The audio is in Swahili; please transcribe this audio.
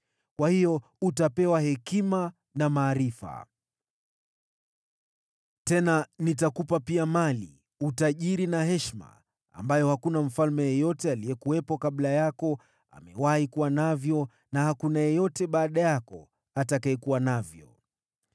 kwa hiyo utapewa hekima na maarifa. Tena nitakupa pia mali, utajiri na heshima, ambavyo hakuna mfalme yeyote aliyekuwepo kabla yako amewahi kuwa navyo, na hakuna yeyote baada yako atakayekuwa navyo.”